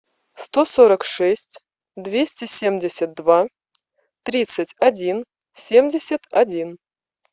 сто сорок шесть двести семьдесят два тридцать один семьдесят один